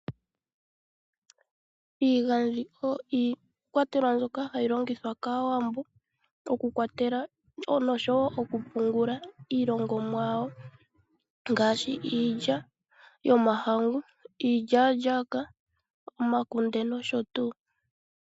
Iigadhi oyo iikwatelwa mbyoka hayi longithwa kAawambo okukwatela noshowo okupungula iilongomwa ngaashi iilya yomahangu, iilyalyaka, omakunde nosho tuu.